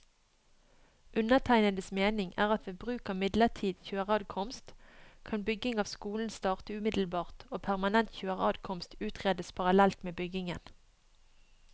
Undertegnedes mening er at ved bruk av midlertidig kjøreadkomst, kan bygging av skolen starte umiddelbart og permanent kjøreadkomst utredes parallelt med byggingen.